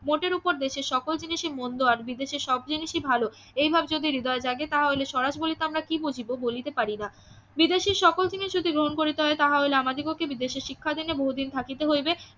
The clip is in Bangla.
মোটের ওপর দেশের সকল জিনিষই মন্দ আর বিদেশের সব জিনিসই ভালো এই ভাব যদি হৃদয়ে জাগে তাহলে স্বরাজ বলিতে আমরা কি বুঝিব বলিতে পারিনা বিদেশের সকল জিনিষই যদি গ্রহণ করিতে হয় তাহা হইলে আমাদিগকে বিদেশে শিক্ষাদানে বহুদিন থাকিতে হইবে